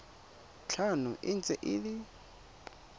tlhano e ntse e le